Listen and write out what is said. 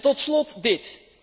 Tot slot dit.